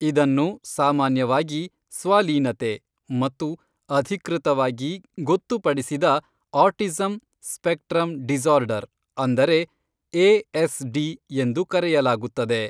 ಇದನ್ನು ಸಾಮಾನ್ಯವಾಗಿ ಸ್ವಲೀನತೆ ಮತ್ತು ಅಧಿಕೃತವಾಗಿ ಗೊತ್ತುಪಡಿಸಿದ ಆಟಿಸಂ ಸ್ಪೆಕ್ಟ್ರಮ್ ಡಿಸಾರ್ಡರ್ ಅಂದರೆ, ಎ.ಎಸ.ಡಿ, ಎಂದು ಕರೆಯಲಾಗುತ್ತದೆ.